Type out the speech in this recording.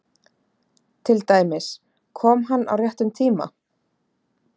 Til dæmis: Kom hann á réttum tíma?